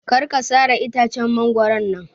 Kar ka sare itacen mangoron nan